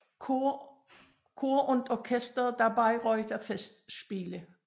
Chor und Orchester der Bayreuther Festspiele